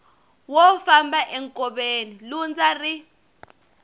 wo famba enkoveni lundza ri